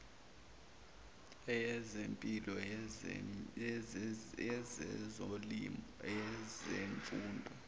eyezempilo eyezolimo eyezemfundo